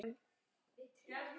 Stórum og smáum.